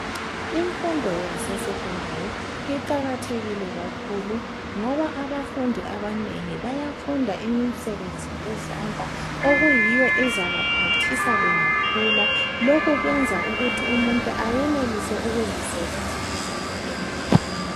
Imfundo yasesekhondari iqakathekile kakhulu ngoba abafundi abanengi bayafunda imisebenzi yezandla okuyiwo ezabaphathisa bengakhula, lokhu kwenza ukuthi umuntu ayenelise ukuzisebenzela yedwa.